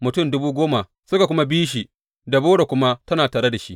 Mutum dubu goma suka kuma bi shi, Debora kuma tana tare da shi.